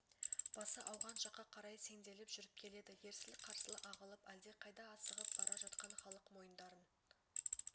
басы ауған жаққа қарай сенделіп жүріп келеді ерсіл-қарсылы ағылып әлдеқайда асығып бара жатқан халық мойындарын